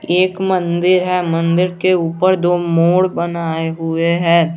एक मंदिर है मंदिर के ऊपर दो मोर बनाए हुए हैं।